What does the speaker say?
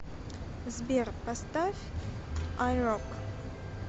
сбер поставь ай рок